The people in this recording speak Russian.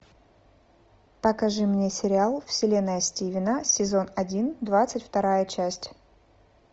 покажи мне сериал вселенная стивена сезон один двадцать вторая часть